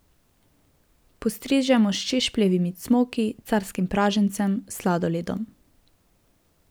Postrežemo s češpljevimi cmoki, carskim pražencem, sladoledom ...